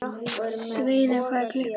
Sveina, hvað er klukkan?